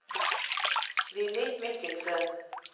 Villy Michelsen